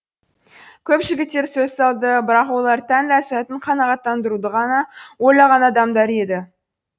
көп жігіттер сөз салды бірақ олар тән ләзәтін қанағаттандыруды ғана ойлаған адамдар еді